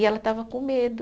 E ela estava com medo.